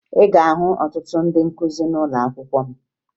Ị ga-ahụ ọtụtụ ndị nkụzi n'ụlọakwụkwọ m